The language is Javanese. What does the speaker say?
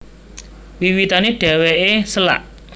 Wiwitané dhèwèké sélak